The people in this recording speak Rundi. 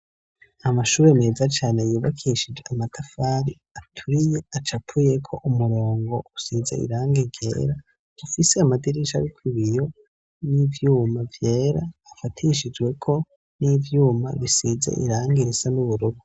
Amashure meza cane yubakishijwe amatafari aturiye acapuyeko umurongo usize irangi ryera, ufise amadirisha ariko ibiyo n'ivyuma vyera afatishijweko n'ivyuma bisize irangi risa n'uburubu.